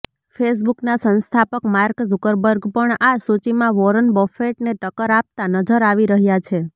ફેસબુકના સંસ્થાપક Mark Zuckerberg પણ આ સૂચિમાં વોરન બફેટને ટક્કર આપતા નજર આવી રહ્યાં છે